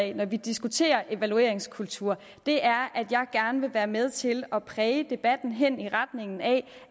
af når vi diskuterer evalueringskultur er at jeg gerne vil være med til at præge debatten hen i retning af